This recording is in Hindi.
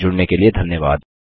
हमसे जुड़ने के लिए धन्यवाद